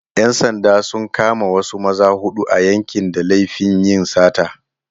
‘Yan sanda sun kama wasu maza huɗu a yankin da laifin yin sata.